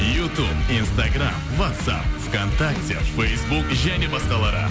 ютуб инстаграмм уатсап в контакте фейсбук және басқалары